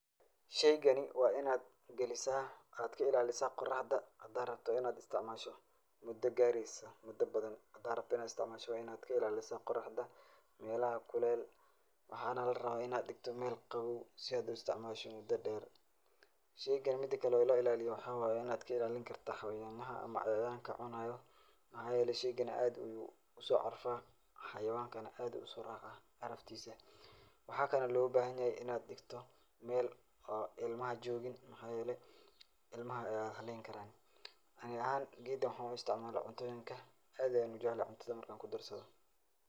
Shaygani waa in aad gelisaa, aad ka ilaalisaa qoraxda hadaa hadaa rabto in aad istacmaasho mudo gaaraysa mudo badan hadaa rabto in aad istacmaasho waa in aad ka ilaalisaa qoraxda, meelaha kuleel, waxaana la rabaa in aad dhikto meel qabow si aad u istacmaasho mudo dheer. Shaygan mida kale oo loo ilaaliyo waxaa waay in aad ka ilaalinkarta xayawaanaha ama cayayaanka cunaya, maxaa yeelay shaygan aad uu u soo carfaa, xayawaankana aad uu u soo raacaa caraftiisa. Waxaa kale looga bahanyahay in aad dhigto meel oo ilmaha joogin, maxaa yeelay ilmaha waay haleyn karaan. Ani ahaan geedkan waxuu u istacmalaa cuntoyinka. Aad ayaan u jeclahay cuntada marka aan ku darsado.